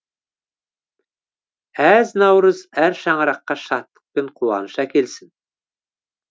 әз наурыз әр шаңыраққа шаттық пен қуаныш әкелсін